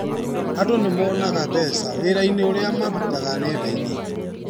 Andũ nĩmonaga mbeca wĩrainĩ ũrĩa marutaga nendainĩ.